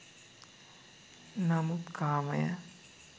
නමුත් කාමය